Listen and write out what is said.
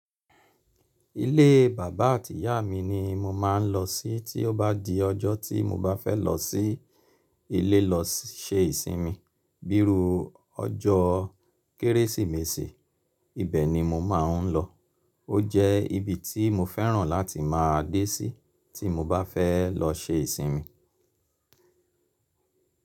Ilé bàbá àti ìyá mi ni mo máa ń lọ sí tí ó bá di ọjọ́ tí mo bá fẹ́ lọ sí ilé lọ ṣe ìsinmi. Bíru ọjọ́ Kérésìmesì, ibẹ̀ ni mo máa ń lọ. Ó jẹ́ ibi tí mo fẹ́ràn láti máa dé sí tí mo bá fẹ́ lọ ṣe ìsinmi.